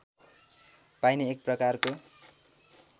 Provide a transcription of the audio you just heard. पाइने एक प्रकारको